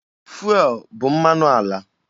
Fụelụ bụ mmanụ ala.